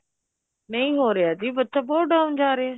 ਨਹੀਂ ਹੋ ਰਿਹਾ ਜੀ ਬੱਚਾ ਬਹੁਤ down ਜਾ ਰਿਹਾ